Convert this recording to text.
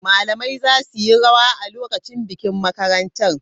Malamai za su yi rawa a lokacin bikin makarantar.